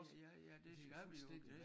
Ja ja ja det gør vi jo